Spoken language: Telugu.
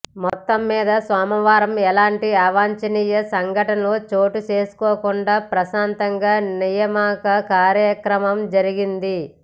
మొత్తం మీద సోమవారం ఎలాంటి అవాంఛనీయ సంఘటనలు చోటు చేసుకోకుండా ప్రశాంతంగా నియామక కార్యక్రమం జరిగింది